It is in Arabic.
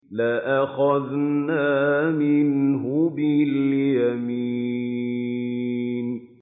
لَأَخَذْنَا مِنْهُ بِالْيَمِينِ